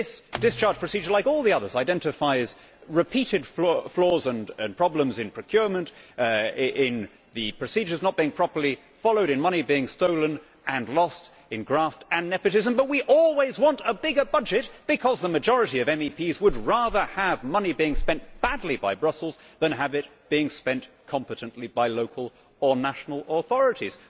This discharge procedure, like all the others, identifies repeated flaws and problems in procurement, in the procedures not being properly followed, and in money being stolen and lost in graft and nepotism, but we always want a bigger budget because the majority of MEPs would rather have money being spent badly by Brussels than have it being spent competently by local or national authorities.